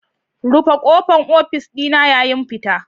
Rufe kofar ofis dina yayin fita.